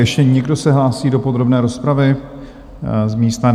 Ještě někdo se hlásí do podrobné rozpravy z místa?